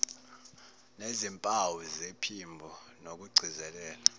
zezimpawu zephimbo nokugcizelela